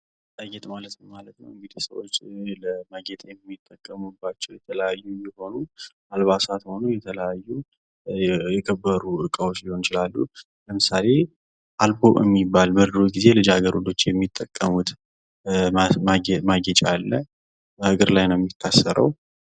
ጌጣጌጥ ማለት ምን ማለት ነው እንግዲ ሰዎች ለማጌጥ የሚጠቀሙባቸው የተለያዩ የሆኑ አልባሳት ሆኖ የተለያዩ የከበሩ እቃዎች ሊሆኑ ይችላሉ ፤ ለምሳሌ አልቦ የሚባል በድሮ ጊዜ ልጃገረዶች የሚጠቀሙት ማጌጫ አለ፥ እግር ላይ ነው የሚታሰረው።